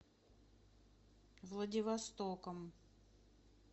владивостоком